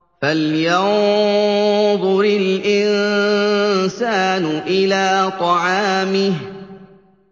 فَلْيَنظُرِ الْإِنسَانُ إِلَىٰ طَعَامِهِ